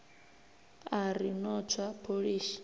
a ri no tswa pholishi